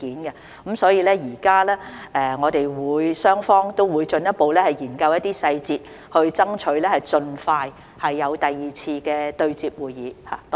現在我們雙方都會進一步研究一些細節，爭取盡快舉行第二次對接會議。